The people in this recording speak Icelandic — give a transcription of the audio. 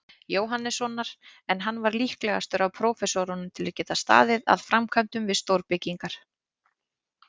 Jóhannessonar, en hann var líklegastur af prófessorunum að geta staðið að framkvæmdum við stórbyggingar.